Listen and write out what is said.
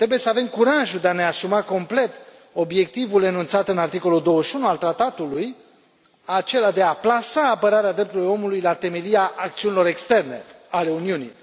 Trebuie să avem curajul de a ne asuma complet obiectivul enunțat în articolul 21 al tratatului, acela de a plasa apărarea drepturilor omului la temelia acțiunilor externe ale Uniunii.